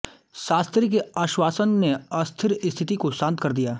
शास्त्री के आश्वासन ने अस्थिर स्थिति को शांत कर दिया